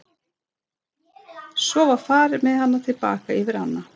Svo var farið með hana til baka yfir ána.